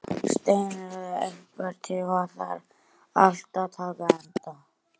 Hvorki hráefnis málma, plasts og glers né þekkingar og hugmynda.